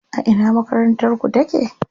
A ina makarantar ku take?